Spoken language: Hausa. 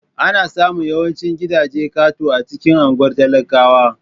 Ana samun yawancin gidajen katako a cikin unguwar talakawa.